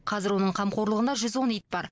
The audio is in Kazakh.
қазір оның қамқорлығында жүз он ит бар